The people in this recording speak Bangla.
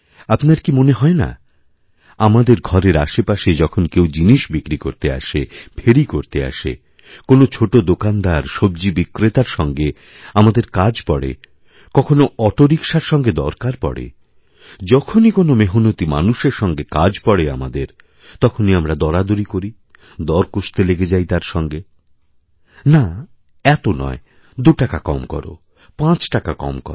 আপনার কিমনে হয় না কি আমাদের ঘরের আশেপাশে যখন কেউ জিনিস বিক্রি করতে আসে ফেরি করতে আসেকোনো ছোট দোকানদার সব্জী বিক্রেতার সঙ্গে আমাদের কাজ পড়ে কখনও অটোরিকশার সঙ্গেদরকার পড়ে যখনই কোনো মেহনতী মানুষের সঙ্গে কাজ পড়ে আমাদের তখনই আমরা দরাদরিকরি দর কষতে লেগে যাই তার সঙ্গে না এত নয় দু টাকা কম করো পাঁচ টাকা কম করো